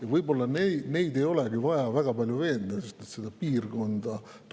Ja võib-olla neid ei olegi vaja väga palju veenda, sest nad tunnevad meie piirkonda.